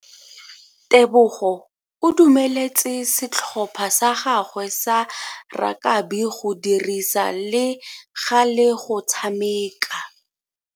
Tebogo o dumeletse setlhopha sa gagwe sa rakabi go dirisa le gale go tshameka.